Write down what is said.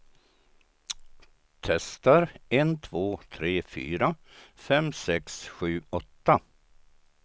Testar en två tre fyra fem sex sju åtta.